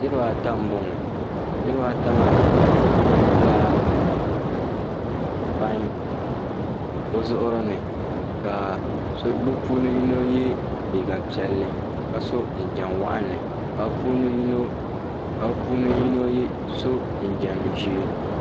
Niribaata m-bɔŋɔ niribaata maa ʒirila pain bɛ zuɣuri ni ka bɛ puuni yino yɛ liiga piɛll ka so jinjam waɣinli ka bɛ puuni yino so jinjam' ʒee